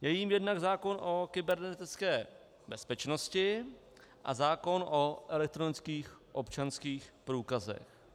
Je jím jednak zákon o kybernetické bezpečnosti a zákon o elektronických občanských průkazech.